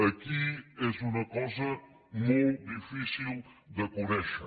aquí és una cosa molt difícil de conèixer